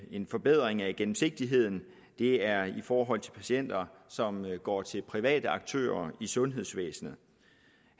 en forbedring af gennemsigtigheden er i forhold til patienter som går til private aktører i sundhedsvæsenet